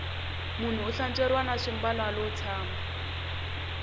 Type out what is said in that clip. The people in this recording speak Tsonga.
munhu u hlantsweriwa na swimbalo alo tshama